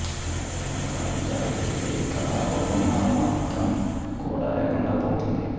ఇలాగే కొంతకాలం జాగు చేస్తే ఈ కళారూపం నామ మాత్రం కూడ లేకుండా పోతుంది